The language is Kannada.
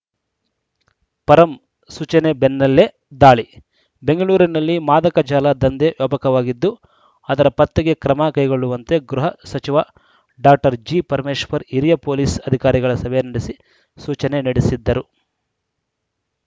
ಪರಂ ಸೂಚನೆ ಬೆನ್ನಲ್ಲೇ ದಾಳಿ ಬೆಂಗಳೂರಿನಲ್ಲಿ ಮಾದಕ ಜಾಲ ದಂಧೆ ವ್ಯಾಪಕವಾಗಿದ್ದು ಅದರ ಪತ್ತೆಗೆ ಕ್ರಮ ಕೈಗೊಳ್ಳುವಂತೆ ಗೃಹ ಸಚಿವ ಡಾಕ್ಟರ್ ಜಿಪರಮೇಶ್ವರ್‌ ಹಿರಿಯ ಪೊಲೀಸ್‌ ಅಧಿಕಾರಿಗಳ ಸಭೆ ನಡೆಸಿ ಸೂಚನೆ ನಡೆಸಿದ್ದರು